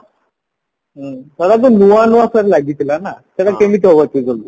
ହ୍ମ ସେଟା ତ ନୂଆ ନୂଆ ଲାଗିଥିଲା ନାଁ ସେଟା କେମିତି ତୁ କଲୁ